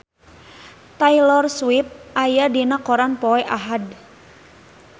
Taylor Swift aya dina koran poe Ahad